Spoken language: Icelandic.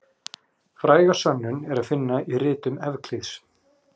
Fræga sönnun er að finna í ritum Evklíðs.